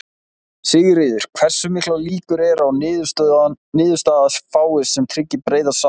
Sigríður: Hversu miklar líkur eru á að niðurstaða fáist sem tryggi breiða sátt?